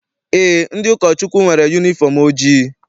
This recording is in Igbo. Eé, ndị ụkọchukwu nwere yunifọm ojii.